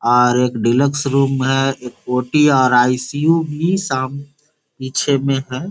और एक deluxe room है ओ.टी. और आई.सी.यु. . भी साम पीछे में है।